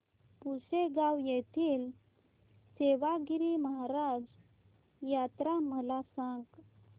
पुसेगांव येथील सेवागीरी महाराज यात्रा मला सांग